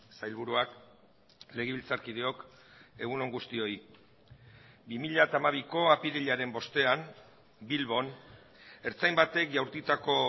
sailburuak legebiltzarkideok egun on guztioi bi mila hamabiko apirilaren bostean bilbon ertzain batek jaurtitako